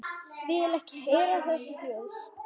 Vil ekki heyra þessi hljóð.